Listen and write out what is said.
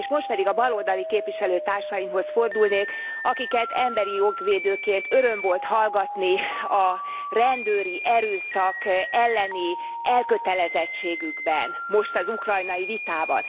És most pedig a baloldali képviselőtársaimhoz fordulnék, akiket emberi jogvédőként öröm volt hallgatni a rendőri erőszak elleni elkötelezettségükben, most az ukrajnai vitában.